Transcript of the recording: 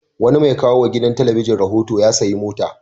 Wani mai kawo wa gidan talabijin rahoto ya sayi mota.